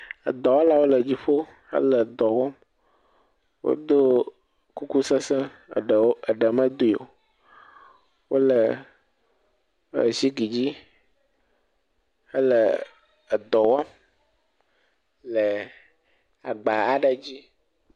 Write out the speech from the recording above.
Edɔwɔlawo le dziƒo hele dɔ wɔm. Woɖo kuku sesẽ, aɖe meɖui o. Wòle zigi dzi hele edɔ wɔm le agba aɖe dzi.